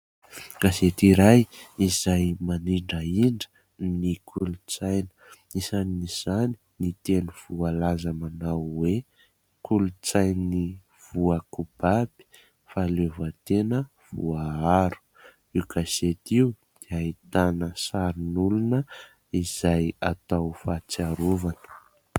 Gazety iray izay manindrahindra ny kolontsaina. Isan'izany ny teny voalaza manao hoe "kolontsainy voakobaby, fahaleovantena voaaro". Io gazety io dia ahitana sarin'olona izay atao fahatsiarovana.